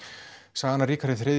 sagan af Ríkharði þrjú